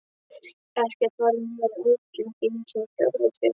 Ekkert varð mér að áhyggjum, ekki einu sinni fjarvistir.